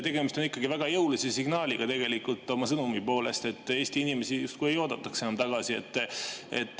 Tegemist on ikkagi väga jõulise signaaliga oma sõnumi poolest, et Eesti inimesi justkui ei oodataks enam tagasi.